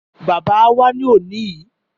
Bàbá wá ní òní yìí.